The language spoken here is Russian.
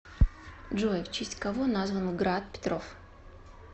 джой в честь кого назван град петров